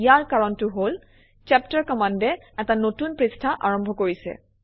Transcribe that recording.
ইয়াৰ কাৰণটো হল চেপ্টাৰ কমাণ্ডে এটা নতুন পৃষ্ঠা আৰম্ভ কৰিছে